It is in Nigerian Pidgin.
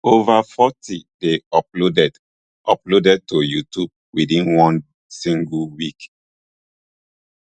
over forty dey uploaded uploaded to youtube within one single week